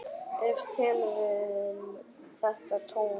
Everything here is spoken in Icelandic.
Ef til vill þetta tóm.